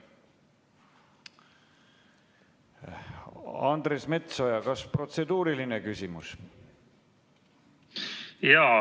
Andres Metsoja, kas protseduuriline küsimus?